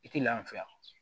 I tɛ lafiya